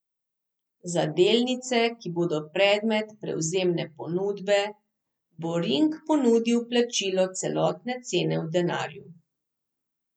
Za delnice, ki bodo predmet prevzemne ponudbe, bo Ring ponudil plačilo celotne cene v denarju.